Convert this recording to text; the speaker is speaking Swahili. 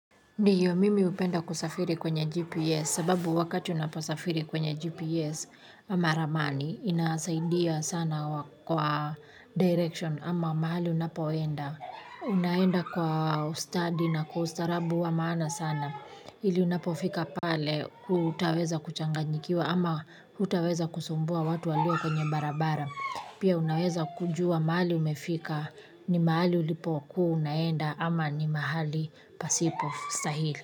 Ndiyo mimi hupenda kusafiri kwenye GPS sababu wakati unaposafiri kwenye GPS ama ramani inasaidia sana kwa direction ama mahali unapoenda. Unaenda kwa ustadi na kwa ustarabu wa maana sana ili unapofika pale hutaweza kuchanganyikiwa ama hutaweza kusumbua watu walio kwenye barabara. Pia unaweza kujua mahali umefika ni mahali ulipo kuwa unaenda ama ni mahali pasipo stahili.